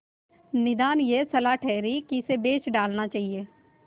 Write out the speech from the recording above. निदान यह सलाह ठहरी कि इसे बेच डालना चाहिए